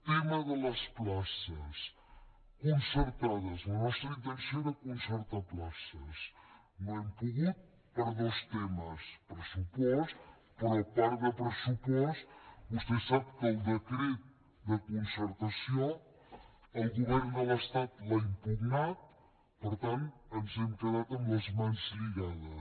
tema de les places concertades la nostra intenció era concertar places no hem pogut per dos temes pressupost però a part de pressupost vostè sap que el decret de concertació el govern de l’estat l’ha impugnat per tant ens hem quedat amb les mans lligades